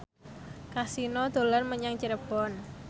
Kasino dolan menyang Cirebon